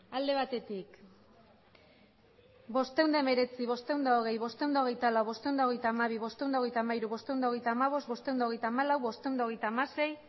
alde batetik bostehun eta hemeretzi bostehun eta hogei bostehun eta hogeita lau bostehun eta hogeita hamabi bostehun eta hogeita hamairu bostehun eta hogeita hamabost bostehun eta hogeita hamalau bostehun eta hogeita hamasei